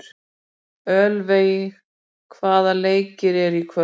Ölveig, hvaða leikir eru í kvöld?